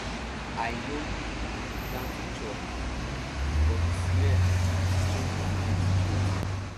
i no um plan to chop um but the smell um change my mind straight